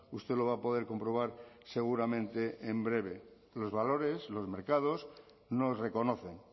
usted lo va a poder comprobar seguramente en breve los valores los mercados nos reconocen